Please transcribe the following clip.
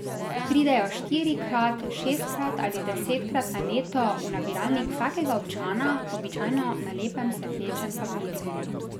Pridejo štirikrat, šestkrat ali desetkrat na leto v nabiralnik vsakega občana, običajno na lepem svetlečem papirju.